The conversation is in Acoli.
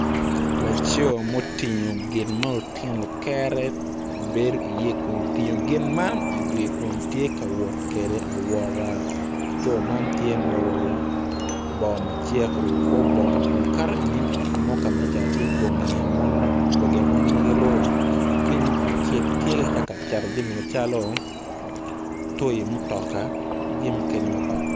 Laco ma otingo gin ma otino kere bedo i ye kun otingo gin man i wiye kun tye ka wot kede awota laco man tye ma oruko bongo macek oruko kor bongo kun kato ki inge ot kame cato i ye bongi amon magiruko kinyim ot acel kitye ka cato jami macalo toy mutoka ki jami mukene mapat pat.